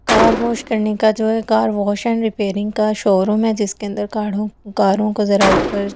car wash करने का जो है कार वॉश एंड रिपेयरिंग का शोरूम है जिसके अंदर काड़ों कारों को जरा ऊपर--